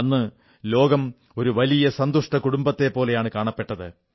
അന്ന് ലോകം ഒരു വലിയ സന്തുഷ്ട കുടുംബത്തെപ്പോലെയാണ് കാണപ്പെട്ടത്